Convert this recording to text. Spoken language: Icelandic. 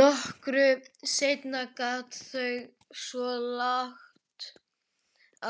Nokkru seinna geta þau svo lagt